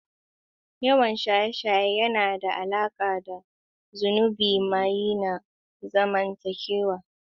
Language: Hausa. Yawan shaye-shaye yana da alaƙa da zunubin maye na zamantakewa.